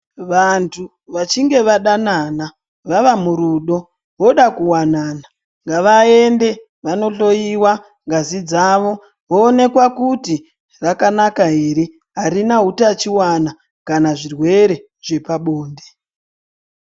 Vantu vachinge vandanana vavamurudo voda kuwanana ngavaende vandohloiwa ngazi dzavo voonekwa kuti rakanaka ere harina hutachiwana kana zvirwere zvepabonde.